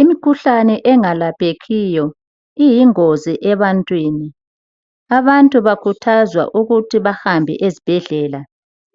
Imkhuhlane engalaphekhiyo iyingozi ebantwini. Abantu bakhuthazwa ukuthi bahambe ezbhedlela